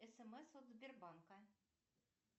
смс от сбербанка